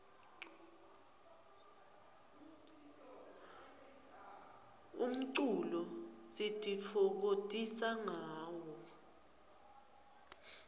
umculo sititfokotisa ngawo